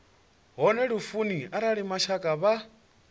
hone lufuni arali mashaka vha